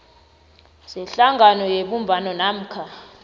zehlangano yebumbano namkha